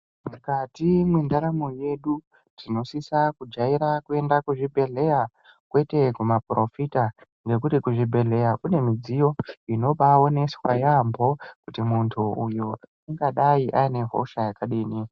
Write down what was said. Mukati mwendaramo yedu tinosisa kujaira kuenda kuzvibhedhlera kwete kumaporofita nekuti kuzvibhedhlera kune midziyo inobaonesa yaamho kuti muntu uyu ungadai aine hosha yakadii .